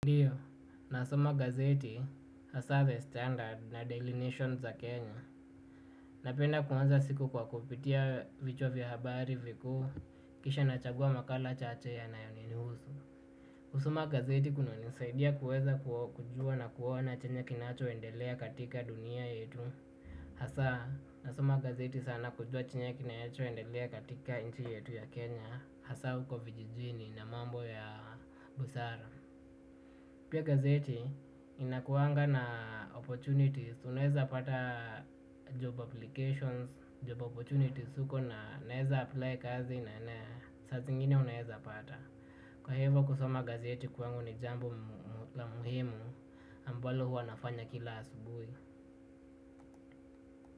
Ndiyo, nasoma gazeti, hasa the standard na daily nation za Kenya. Napenda kuanza siku kwa kupitia vichwa habari vikuu, kisha nachagua makala chache yanayonihusu. Kusoma gazeti kunanisaidia kuweza kujua na kuona chenye kinachoendelea katika dunia yetu. Hasa, nasoma gazeti sana kujua chenye kinachoendelea katika nchi yetu ya Kenya. Hasa, huko vijijini na mambo ya busara. Pia gazeti inakuanga na opportunities, unaeza pata job applications, job opportunities huko na naeza apply kazi na saa zingine unaeza pata. Kwa hivyo kusoma gazeti kwangu ni jambo la muhimu ambalo huwa nafanya kila asubuhi.